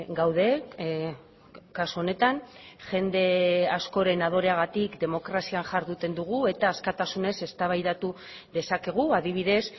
gaude kasu honetan jende askoren adoreagatik demokrazian jarduten dugu eta askatasunez eztabaidatu dezakegu adibidez